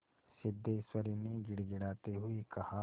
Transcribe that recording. सिद्धेश्वरी ने गिड़गिड़ाते हुए कहा